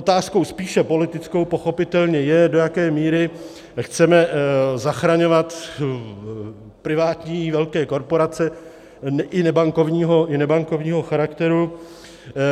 Otázkou spíše politickou pochopitelně je, do jaké míry chceme zachraňovat privátní velké korporace i nebankovního charakteru,